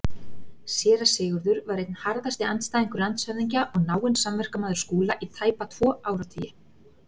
Séra Sigurður var einn harðasti andstæðingur landshöfðingja og náinn samverkamaður Skúla í tæpa tvo áratugi.